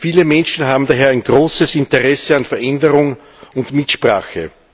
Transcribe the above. Viele Menschen haben daher ein großes Interesse an Veränderung und Mitsprache.